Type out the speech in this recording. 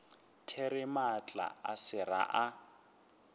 there maatla a sera a